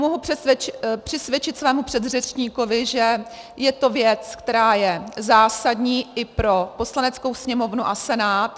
Mohu přisvědčit svému předřečníkovi, že je to věc, která je zásadní i pro Poslaneckou sněmovnu a Senát.